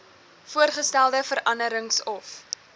voorgestelde veranderings of